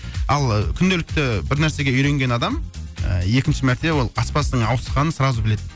ал күнделікті бір нәрсеге үйренген адам ыыы екінші мәрте ол аспаздың ауысқанын сразу біледі